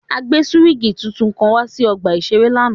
A gbe suwingi titun kan wa si ọgba iṣere lánàá.